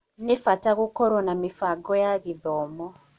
Nĩ bata gũkorwo na mĩbango ya gĩthomo.